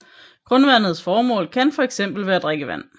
Grundvandets formål kan for eksempel være drikkevand